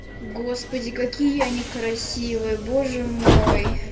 господи какие они красивые боже мой